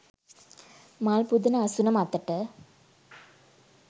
මල් පුදන අසුන මතට